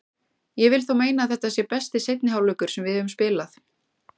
Ég vil þó meina að þetta sé besti seinni hálfleikur sem við höfum spilað.